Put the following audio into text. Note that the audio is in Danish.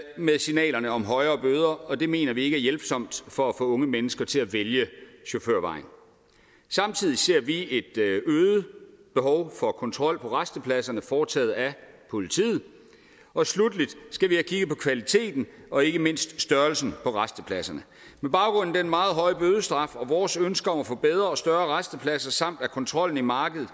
med signalerne om højere bøder og det mener vi ikke er hjælpsomt for at få unge mennesker til at vælge chaufførvejen samtidig ser vi et øget behov for kontrol på rastepladserne foretaget af politiet og slutteligt skal vi have kigget på kvaliteten af og ikke mindst størrelsen på rastepladserne med baggrund i den meget høje bødestraf vores ønske om at få bedre og større rastepladser samt at kontrollen af markedet